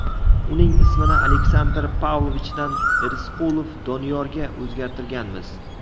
Uning ismini Aleksandr Pavlovichdan Irisqulov Doniyorga o‘zgartirganmiz.